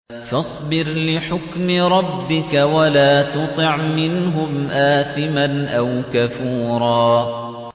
فَاصْبِرْ لِحُكْمِ رَبِّكَ وَلَا تُطِعْ مِنْهُمْ آثِمًا أَوْ كَفُورًا